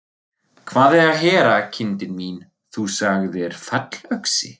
Hvað er að heyra, kindin mín, þú sagðir fallöxi.